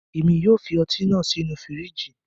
Emi yóò fi ọti naa sinu firiji